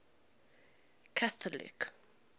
catholic